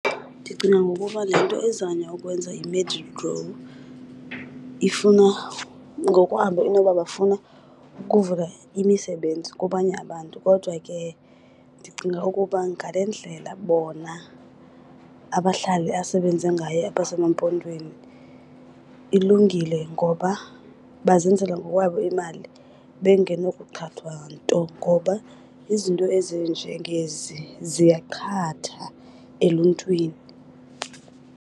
Ndicinga ngokuba le nto ezanywa ukwenza yiMedigrow ifuna, ngokwabo inoba bafuna ukuvula imisebenzi kwabanye abantu. Kodwa ke ndicinga ukuba ngale ndlela bona abahlali asebenze ngayo abaseMampondweni ilungile, ngoba bazenzela ngokwabo imali bengenokuqhathwa nto ngoba izinto ezinjengezi ziyaqhatha eluntwini.